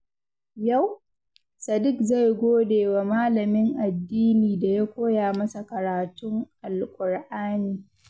Yau, Sadik zai gode wa malamin addini da ya koya masa karatun Alƙur'ani.